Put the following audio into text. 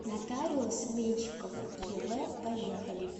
нотариус меньщикова ев поехали